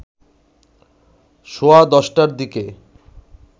সোয়া ১০টার দিকে